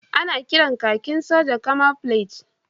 Ana kiran kakin sojan Camouflage